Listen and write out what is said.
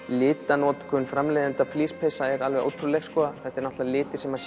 litanotkun framleiðenda flíspeysa er ótrúleg litir sem